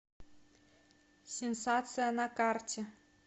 сенсация на карте